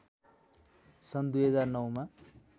सन् २००९ मा